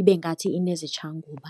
ibe ngathi inezitshanguba.